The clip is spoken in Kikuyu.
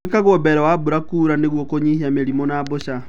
gwikagwo mbele wa mbura kuura niguo kũnyihia mĩrimũ na mbũca.